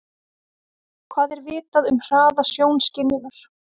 Hvað er vitað um hraða sjónskynjunar?